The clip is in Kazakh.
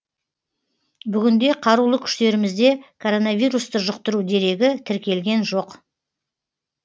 бүгінде қарулы күштерімізде коронавирусты жұқтыру дерегі тіркелген жоқ